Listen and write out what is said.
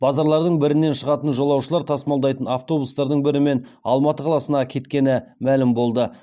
базарлардың бірінен шығатын жолаушылар тасымалдайтын автобустардың бірімен алматы қаласына кеткені мәлім болды